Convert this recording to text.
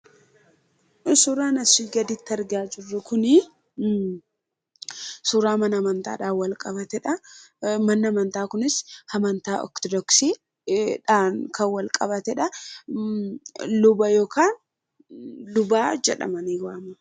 Suuraan asii gaditti argaa jirru kun suuraa mana amantaan wal qabatanidha. Manni amantaa kunis mana ortodoksiidhaan kan wal qabatedha. Luba jedhamanii waamamu.